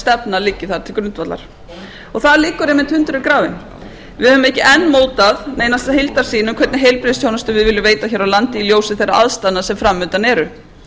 stefna liggi þar til grundvallar þar liggur einmitt hundurinn grafinn við höfum ekki enn mótað neina heildarsýn um hvernig heilbrigðisþjónustu við viljum veita hér á landi í ljósi þeirra aðstæðna sem fram undan eru